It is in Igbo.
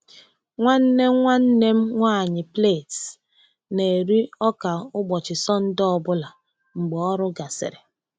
Nwanne nwanne m nwanyị plaits na-eri ọka ụbọchị Sọnde ọ bụla mgbe ọrụ gasịrị.